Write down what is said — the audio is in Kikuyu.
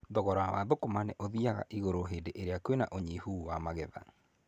Thogora wa thũkũma nĩ ũthiaga igũrũ hĩndĩ ĩrĩa kwĩna ũnyihu wa magetha.